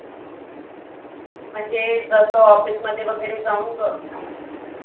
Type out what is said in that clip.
म्हणजे जसं office मधे वगैरे जाऊन बघ.